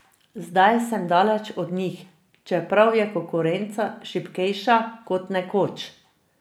Zdaj sem daleč od njih, čeprav je konkurenca šibkejša kot nekoč.